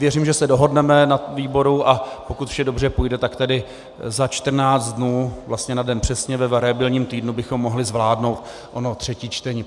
Věřím, že se dohodneme na výboru, a pokud vše dobře půjde, tak tedy za 14 dnů, vlastně na den přesně, ve variabilním týdnu bychom mohli zvládnout ono třetí čtení.